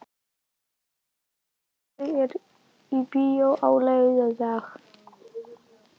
Donna, hvaða myndir eru í bíó á laugardaginn?